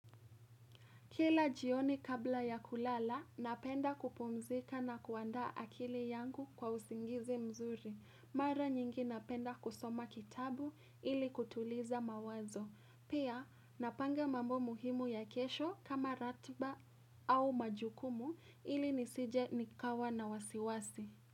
Kila jioni kabla ya kulala, napenda kupumzika na kuandaa akili yangu kwa uzingizi mzuri. Mara nyingi napenda kusoma kitabu ili kutuliza mawazo. Pia, napanga mambo muhimu ya kesho kama ratba au majukumu ili nisije nikawa na wasiwasi.